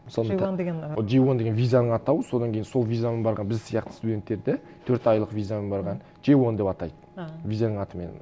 мысалы джей уан деген і джей уан деген визаның атауы содан кейін сол визамен барған біз сияқты студенттерді төрт айлық визамен барған джей уан деп атайды а визаның атымен